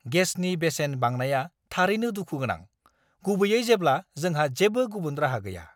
गेसनि बेसेन बांनाया थारैनो दुखु गोनां, गुबैयै जेब्ला जोंहा जेबो गुबुन राहा गैया!